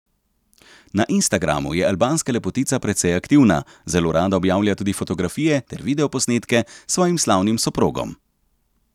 Na Instagramu je albanska lepotica precej aktivna, zelo rada objavlja tudi fotografije ter videoposnetke s svojim slavnim soprogom.